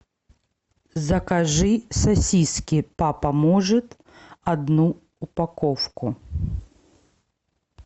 закажи сосиски папа может одну упаковку